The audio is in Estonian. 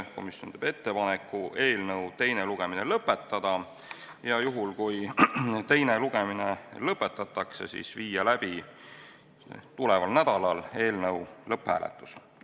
Komisjon teeb ettepaneku eelnõu teine lugemine lõpetada ja juhul, kui teine lugemine lõpetatakse, viia tuleval nädalal läbi eelnõu lõpphääletus.